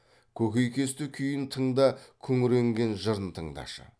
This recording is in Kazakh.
көкейкесті күйін тыңда күңіренген жырын тыңдашы